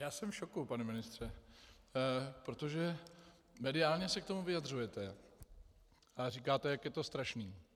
Já jsem v šoku, pane ministře, protože mediálně se k tomu vyjadřujete a říkáte, jak je to strašné.